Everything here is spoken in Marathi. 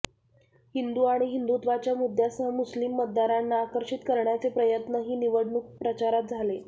हिंदू आणि हिंदुत्वाच्या मुद्यासह मुस्लीम मतदारांना आकर्षित करण्याचे प्रयत्नही निवडणूक प्रचारात झाले